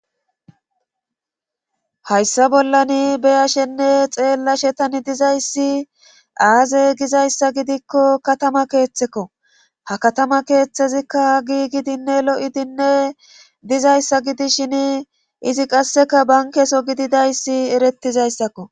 hayssa bollani beyashenne xeellashetani dizayssi aaze gizayssa gidikko katama keeththekko ha katama keeththezikka giigidinne lo7idinne dizayssa gidishin izi qasseka bankeso gididayssi erettizayssakko